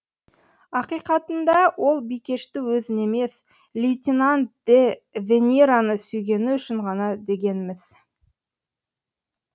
ақиқатында ол бикешті өзін емес лейтенант де венераны сүйгені үшін ғана деген міс